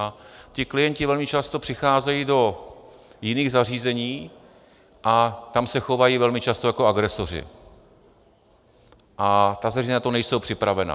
A ti klienti velmi často přicházejí do jiných zařízení a tam se chovají velmi často jako agresoři a ta zařízení na to nejsou připravena.